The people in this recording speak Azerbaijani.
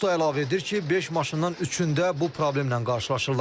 Usta əlavə edir ki, beş maşından üçündə bu problemlə qarşılaşırlar.